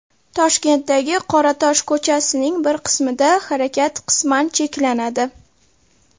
Toshkentdagi Qoratosh ko‘chasining bir qismida harakat qisman cheklanadi.